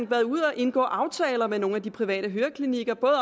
været ude at indgå aftaler med nogle af de private høreklinikker